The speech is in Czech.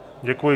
Děkuji.